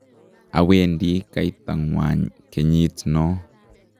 awendi kaitangwany kenyit no